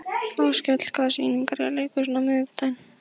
Áskell, hvaða sýningar eru í leikhúsinu á miðvikudaginn?